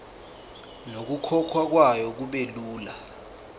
nokukhokhwa kwayo kubelula